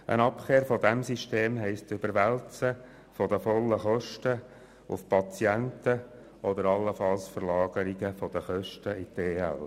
Eine Abkehr von diesem System heisst eine Überwälzung der vollen Kosten auf die Patienten oder allenfalls eine Kostenverlagerung in die Ergänzungsleistungen (EL).